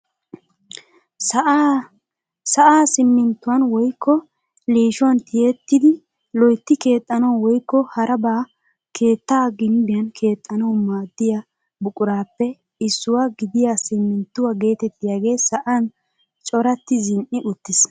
Sa'aa siminttuwaan woykko liishshuwaan tiyidi loytti keexxanawu woykko harabaa keettaa gimbbiyaan keexxanawu maaddiyaa buquraappe issuwaa gidiyaa siminttuwaa getettiyaagee sa'an corati zini"i uttiis.